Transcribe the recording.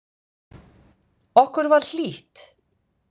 Okkur var hlýtt.